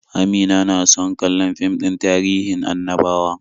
Amina na so kallon fim din tahirin annabawa.